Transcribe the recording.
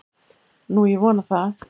Nú, ég vona það.